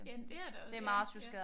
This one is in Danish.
Jamen det er det ja ja